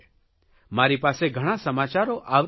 મારી પાસે ઘણા સમાચારો આવતા રહે છે